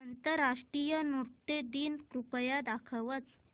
आंतरराष्ट्रीय नृत्य दिन कृपया दाखवच